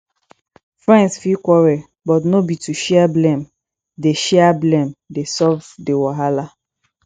friends fit quarrel but no be to share blame dey share blame dey solve di wahala